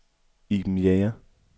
Iben Jæger